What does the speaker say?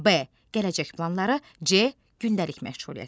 B. gələcək planları, C. gündəlik məşğuliyyətləri.